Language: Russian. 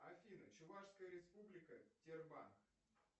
афина чувашская республика тербан